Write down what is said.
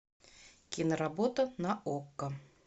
киноработа на окко